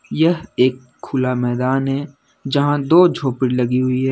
यह एक खुला मैदान है जहां दो झोपड़ी लगी हुई है।